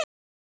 Kinn